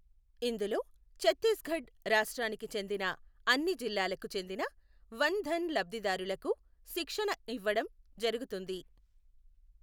ఇందులో చత్తీసఘడ్ రాష్ట్రానికి చెందిన అన్ని జిల్లాలకు చెందిన వన్ ధన్ లబ్ధిదారులకు శిక్షణఇవ్వడం జరుగుతుంది.